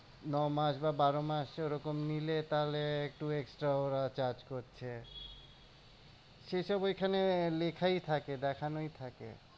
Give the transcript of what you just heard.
ন মাস বা বারো মাস ওরকম নিলে তাহলে একটু extra ওরা charge করছে। সেসব ওখানে লেখাই থাকে দেখানোই থাকে।